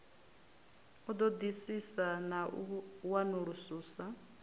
u ṱoḓisisa na u wanulusa